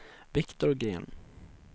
Viktor Gren